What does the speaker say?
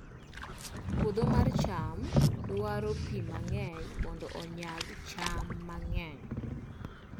Puodho mar cham dwaro pi mang'eny mondo onyag cham mang'eny